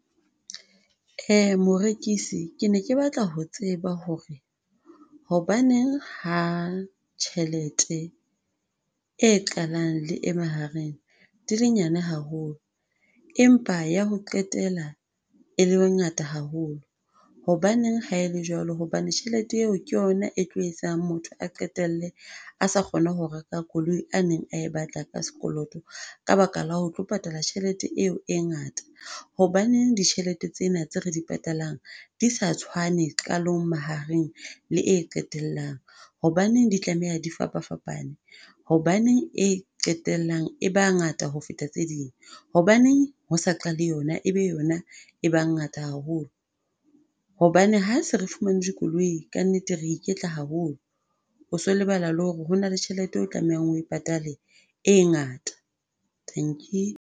Morekisi ke ne ke batla ho tseba hore, hobaneng ha tjhelete e qalang le e mahareng dil e nyane haholo, empa ya ho qetela e le ngata haholo? Hobaneng ha ele jwalo hobane tjhelete eo ke yona e tlo etsang motho a qetelle a sa kgone ho reka koloi a neng e batla ka sekoloto, ka baka la ho tlo patala tjhelete eo e ngata? Hobaneng ditjhelete tsena tse re di patalang, di sa tshwane qalong, mahareng le e qetellang? Hobaneng di tlameha di fapafapane? Hobaneng e qetellang e ba ngata ho feta tse ding? Hobaneng ho sa qale yona, ebe yona e ba ngata haholo? Hobane ha se re fumane dikoloi ka nnete, re iketla haholo. o so o lebala la hore hona le tjhelete eo o tlamehang hore oe patale e ngata, dankie.